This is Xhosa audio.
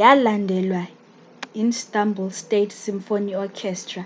yalandelwa yi istanbul state symphony orchestra